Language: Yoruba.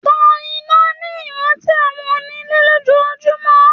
Tan iná ní ìrántí àwọn ònilẹ̀ lójoojúmọ́